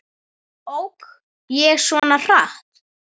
Ók ég svona hratt?